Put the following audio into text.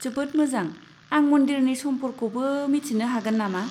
जोबोद मोजां! आं मन्दिरनि समखौफोरखौबो मिन्थिनो हागोन नामा?